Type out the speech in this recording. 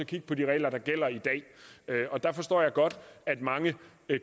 kigge på de regler der gælder i dag og der forstår jeg godt at mange